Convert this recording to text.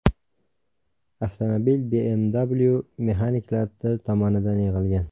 Avtomobil BMW mexaniklari tomonidan yig‘ilgan.